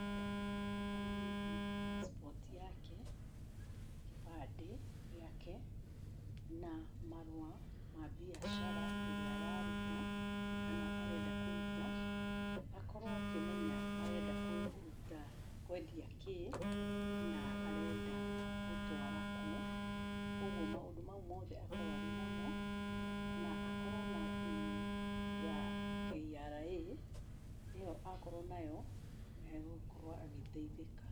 Nĩ abataranĩtie passport yake, kĩbandĩ gĩake, na marũa ma mbiacara ĩrĩa araruta kana arenda kũruta. Akorwo akĩmenya arenda kũruta, kwendia kĩ, na arenda gũtwara kũ. Kwoguo maũndũ mau mothe akorwo arĩ namo na akorwo na PIN ya KRA. ĩyo akorwo nayo, nĩ egũkorwo agĩteithĩka.